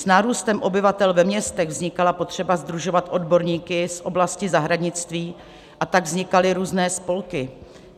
S nárůstem obyvatel ve městech vznikala potřeba sdružovat odborníky z oblasti zahradnictví, a tak vznikaly různé spolky.